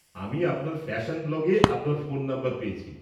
আমি আপনার ফ্যাশন ব্লগে আপনার ফোন নাম্বার পেয়েছি।